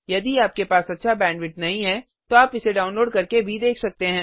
यदि आपके पास अच्छा बैंडविड्थ नहीं है तो आप इसे डाउनलोड करके देख सकते हैं